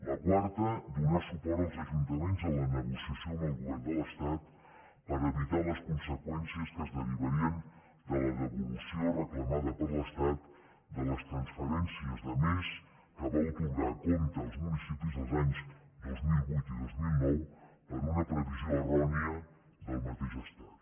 la quarta donar suport als ajuntaments en la negociació amb el govern de l’estat per evitar les conseqüències que es derivarien de la devolució reclamada per l’estat de les transferències de més que va atorgar a compte als municipis els anys dos mil vuit i dos mil nou per una previsió errònia del mateix estat